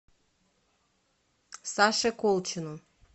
саше колчину